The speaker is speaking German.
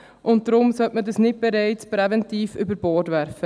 Deshalb sollte man das nicht schon präventiv über Bord werfen.